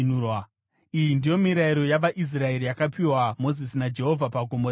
Iyi ndiyo mirayiro yavaIsraeri yakapiwa Mozisi naJehovha paGomo reSinai.